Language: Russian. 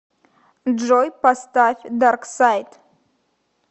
джой поставь дарксайд